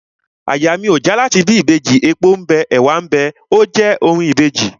Àyà mi ò já láti bí Ìbejì, epo ḿ bẹ, ẹ̀wá ḿ bẹ óò je orin Ìbejì..